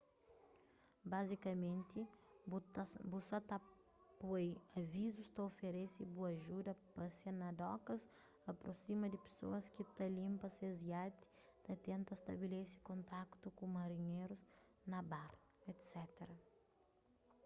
bazikamenti bu ta sa ta poi avizus ta oferese bu ajuda pasia na dokas aprosima di pesoas ki ta linpa ses iati ta tenta stabelese kontaktu ku marinherus na bar etc